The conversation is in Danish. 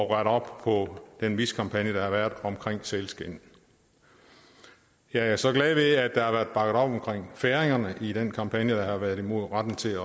rette op på den miskampagne der har været om sælskind jeg er så glad ved at der har været om færingerne i den kampagne der har været imod retten til